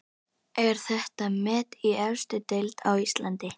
Er þetta met í efstu deild á Íslandi?